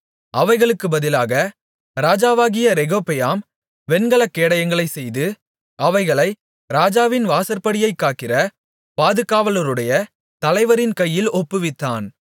அவைகளுக்கு பதிலாக ராஜாவாகிய ரெகொபெயாம் வெண்கலக் கேடயங்களைச் செய்து அவைகளை ராஜாவின் வாசற்படியைக் காக்கிற பாதுகாவலருடைய தலைவரின் கையில் ஒப்புவித்தான்